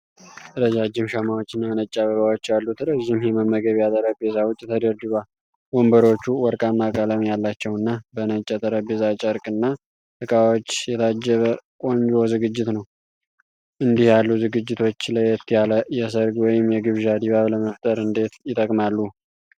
ረጃጅም ሻማዎችና ነጭ አበባዎች ያሉት ረዥም የመመገቢያ ጠረጴዛ ውጪ ተደርድሯል። ወንበሮቹ ወርቃማ ቀለም ያላቸውና በነጭ የጠረጴዛ ጨርቅና እቃዎች የታጀበ ቆንጆ ዝግጅት ነው። እንዲህ ያሉ ዝግጅቶች ለየት ያለ የሠርግ ወይም የግብዣ ድባብ ለመፍጠር እንዴት ይጠቅማሉ?